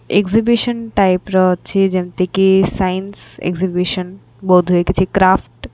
Exhibition type ର ଅଛି ଯେମିତି କି ସାଇନ୍ସି ଏକ୍ଜିହିବିଶନ ବୋଧ ହୁଏ କିଛି କ୍ରାଫ୍ଟ ।